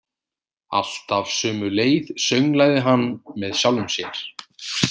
Alltaf sömu leið, sönglaði hann með sjálfum sér.